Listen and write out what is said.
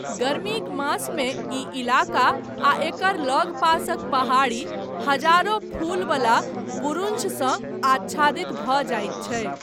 गर्मीक मासमे ई इलाका आ एकर लगपासक पहाड़ी हजारों फूलवला बुरुंशसँ आच्छादित भऽ जाइत छैक।